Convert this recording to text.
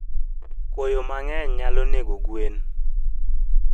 Koyo mangeny nyalo nego gwen